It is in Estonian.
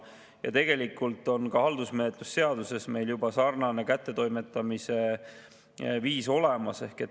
Ja tegelikult on meil haldusmenetluse seaduses juba samasugune kättetoimetamise viis olemas.